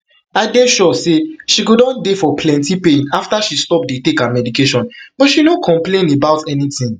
i dey sure say she go don dey for plenty pain afta she stop dey take her medication but she no complain about anything